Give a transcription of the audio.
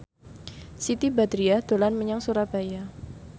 Siti Badriah dolan menyang Surabaya